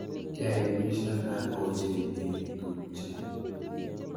Keaibishana ochei eeh tupche .